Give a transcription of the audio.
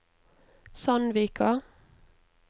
Sandvika